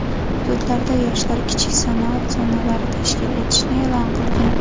hududlarda Yoshlar kichik sanoat zonalari tashkil etilishini e’lon qilgan.